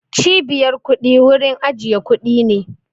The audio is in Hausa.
Cibiyar kuɗi wurin ajiye kuɗi ne